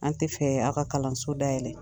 An tɛ fɛ a ka kalanso dayɛlɛ